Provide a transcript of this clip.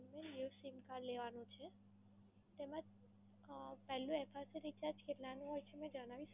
New sim card લેવાનું છે તેમા અમ પહેલુ FRCRecharge કેટલાનું હોય છે? જણાવી શકો?